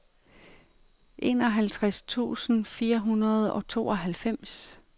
enoghalvtreds tusind fire hundrede og tooghalvfems